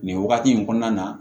Nin wagati in kɔnɔna na